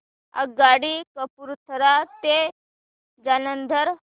आगगाडी कपूरथला ते जालंधर